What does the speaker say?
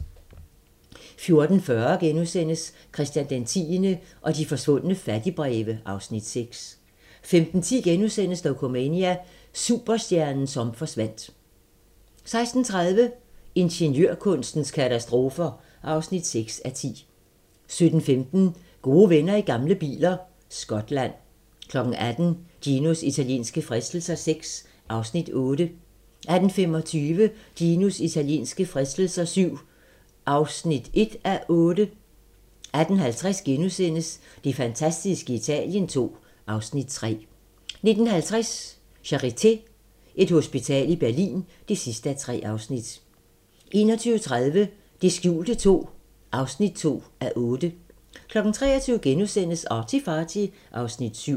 14:40: Christian X og de forsvundne fattigbreve (Afs. 6)* 15:10: Dokumania: Superstjernen som forsvandt * 16:30: Ingeniørkunstens katastrofer (6:10) 17:15: Gode venner i gamle biler - Skotland 18:00: Ginos italienske fristelser VI (Afs. 8) 18:25: Ginos italienske fristelser VII (1:8) 18:50: Det fantastiske Italien II (Afs. 3)* 19:50: Charité - Et hospital i Berlin (3:3) 21:30: Det skjulte II (2:8) 23:00: ArtyFarty (Afs. 7)*